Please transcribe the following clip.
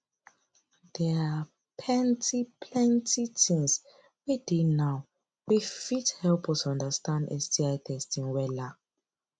they are ppentyplenty things wey dey now wey fit help us understand sti testing wella